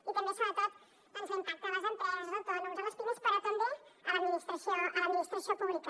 i també sobretot doncs l’impacte a les empreses als autònoms o a les pimes però també a l’administració pública